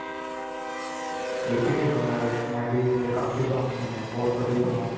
AP Dillon nice ਮੈਂ ਵੀ ਉਹਦੇ ਕਾਫੀ songs ਸੁਣੇ ਏ ਬਹੁਤ ਵਧੀਆ songs